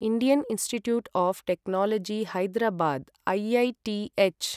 Indian Institute of Technology Hyderabad IITH